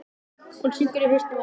Hún syngur í hausnum á mér.